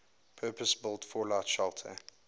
purpose built fallout shelter